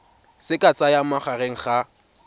se ka tsayang magareng ga